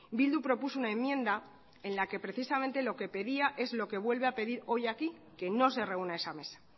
bildu propuso una enmienda en la que precisamente lo que pedía es lo que vuelve a pedir hoy aquí que no se reúna esa mesa